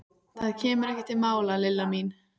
Það kemur ekki til mála, Lilla mín.